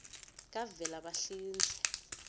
kavelabahlinze